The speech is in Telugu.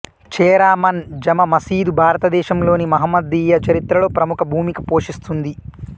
చేరామన్ జమా మసీదు భారతదేశం లోని మహమ్మదీయ చరిత్ర లో ప్రముఖ భూమిక పోషిస్తుంది